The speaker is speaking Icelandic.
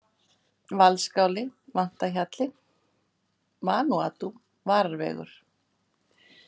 Valsskáli, Vantahjalli, Vanúatú, Vararvegur